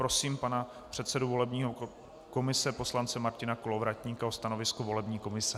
Prosím pana předsedu volební komise poslance Martina Kolovratníka o stanovisko volební komise.